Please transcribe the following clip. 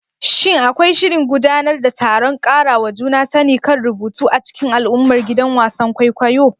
Shin akwai shirin gudanar da taron ƙarawa juna sani kan rubutu a cikin al'ummar gidan wasan kwaikwayo?